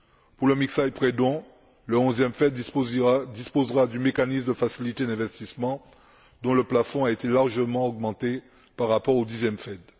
Pour le mixage prêt don, le 11e FED disposera du mécanisme de facilité d'investissement dont le plafond a été largement augmenté par rapport au 10 e FED.